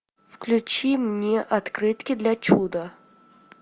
включи мне открытки для чуда